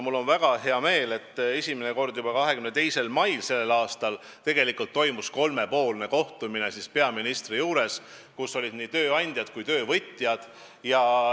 Mul on väga hea meel, et esimene kord juba 22. mail toimus kolmepoolne kohtumine peaministri juures, kus olid esindatud nii tööandjad kui töövõtjad.